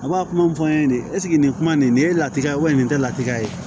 A b'a kuma fɔ n ɲɛna nin nin kuma nin ye latigɛ ye nin tɛ latigɛ ye